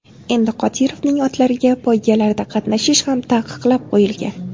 Endi Qodirovning otlariga poygalarda qatnashish ham taqiqlab qoyilgan.